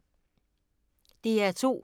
DR2